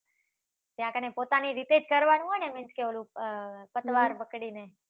ત્યાં કને પોતાની રીતે જ કરવાનું હોય ને? means કે ઓલુ અમ પકડીને